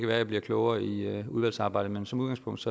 være jeg bliver klogere i udvalgsarbejdet men som udgangspunkt